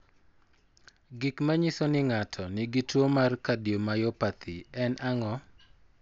Gik manyiso ni ng'ato nigi tuwo mar cardiomyopathy en ang'o?